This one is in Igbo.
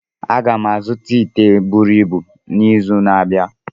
Aga m azụta ite buru ibu n'izu na-abịa